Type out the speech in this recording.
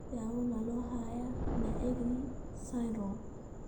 Daawo ma loo hayaa Naegeli syndrome?